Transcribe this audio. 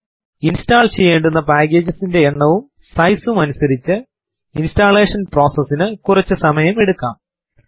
install ചെയ്യേണ്ടുന്ന packages ൻറെ എണ്ണവും സൈസ് ഉം അനുസരിച്ച് ഇൻസ്റ്റലേഷൻ പ്രോസസ് നു കുറച്ചു സമയം എടുക്കാം